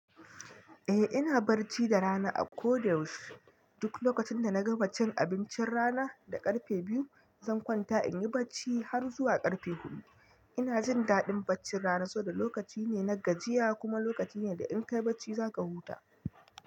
Eh ina bacci da rana a ko da yaushe. Duk lokacin da na ga bacin abincin rana da karfe biyu, zan kwanta in yi bacci har zuwa karfe hudu. Ina jin daɗin baccin rana saboda lokaci ne na gajiya kuma lokaci ne da in ka yi bacci za ka huta.